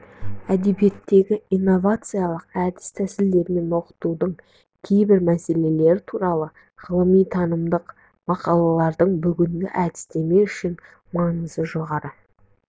әдебиетті инновациялық әд тәсілдермен оқытудың кейбір мәселелері туралы ғылыми-танымдық мақалаларының бүгінгі әдістемесі үшін маңызы жоғары